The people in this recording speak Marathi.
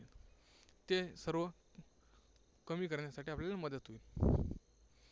ते सर्व कमी कण्यासाठी आपल्याला मदत होईल